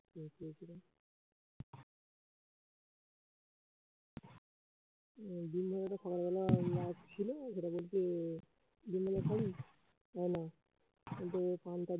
সকাল বেলা ছিল সেটা কিন্তু